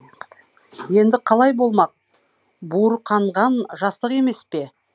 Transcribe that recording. енді қалай болмақ буырқанған жастық емес пе